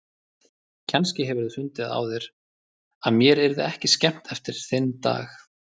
Kannski hefurðu fundið á þér að mér yrði ekki skemmt eftir þinn dag.